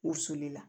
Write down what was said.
U suli la